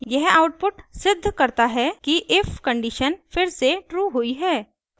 यह आउटपुट सिद्ध करता है कि if कंडीशन फिर से ट्रू हुई है